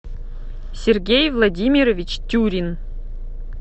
сергей владимирович тюрин